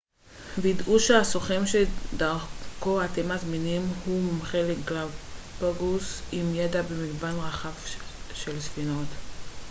ודאו שהסוכן שדרכו אתם מזמינים הוא מומחה לגלאפגוס עם ידע במגוון רחב של ספינות